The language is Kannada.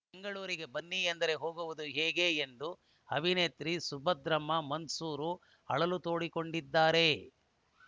ಬೆಂಗಳೂರಿಗೆ ಬನ್ನಿ ಎಂದರೆ ಹೋಗುವುದು ಹೇಗೆ ಎಂದು ಅಭಿನೇತ್ರಿ ಸುಭದ್ರಮ್ಮ ಮನ್ಸೂರು ಅಳಲು ತೋಡಿಕೊಂಡಿದ್ದಾರೆ